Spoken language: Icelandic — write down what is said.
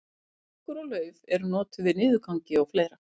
börkur og lauf eru notuð við niðurgangi og fleira